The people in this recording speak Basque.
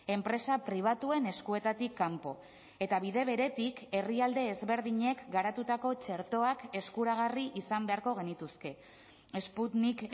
enpresa pribatuen eskuetatik kanpo eta bide beretik herrialde ezberdinek garatutako txertoak eskuragarri izan beharko genituzke sputnik